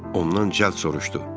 Ondan cəld soruşdu.